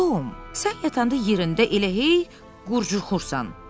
Tom, sən yatanda yerində elə hey qurdaxursan.